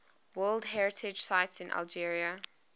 world heritage sites in algeria